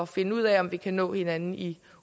finde ud af om vi kan nå hinanden i